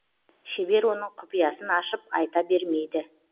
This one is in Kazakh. шебер оның құпиясын ашып айта бермейді